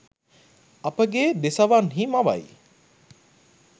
අපගේ දෙසවන්හි මවයි.